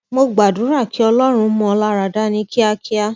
mo gbàdúrà kí ọlọrun mú ọ lára dá ní kíákíá